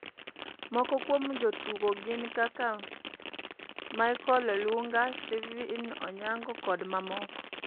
Moko kuom jotugo gi gin kaka Michael Olunga, Steven Onyango koda mamoko.